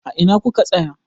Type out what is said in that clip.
A ina ku ka tsaya?